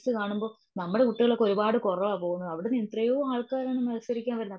Olympics കാണുമ്പോ നമ്മുടെ കുട്ടികൾ ഒരുപാടു കുറവ പോകുന്നെ. അവിടുന്ന് ഇത്രെയും ആൾക്കാരാണ് മത്സരിക്കാൻ വരുന്നേ.